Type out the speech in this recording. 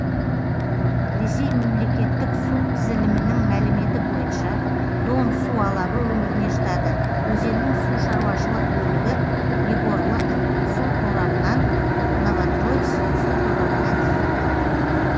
ресей мемлекеттік су тізілімінің мәліметі бойынша дон су алабы өңіріне жатады өзеннің сушаруашылық бөлігі егорлык су торабынан новотроиц су торабына дейін